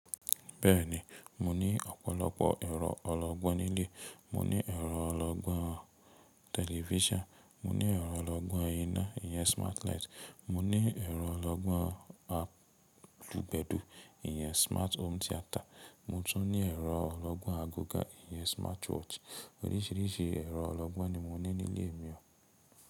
Bẹ́ẹ̀ni, mo ní ọ̀pọ̀lọpọ̀ ẹ̀rọ ọlọ́gbọ́n nílé. Mo ní ẹ̀rọ ọlọ́gbọ́n television, mo ní ẹ̀rọ ọlọ́gbọ́n íná, ìyẹn smart light. Mo ní ẹ̀rọ ọlọ́gbọ́n àlùgbẹ̀dú, ìyẹn smart home theater. Mo tún ní ẹ̀rọ ọlọ́gbọ́n aago gan, ìyẹn smart watch. Oríṣìíríṣìí ẹ̀rọ ọlọ́gbọ́n ni mo ní nílé mi o.